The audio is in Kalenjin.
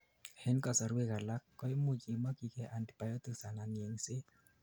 en kasorwek alak, koimuch imokyigei antibiotics anan yengset